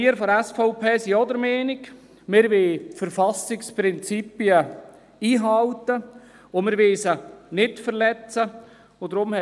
Die SVP ist der Meinung, dass die Verfassungsprinzipien eingehalten und nicht verletzt werden sollen.